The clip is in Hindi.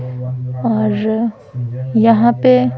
और यहाँ पे --